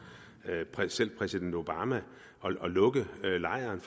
præsident obama at lukke lejren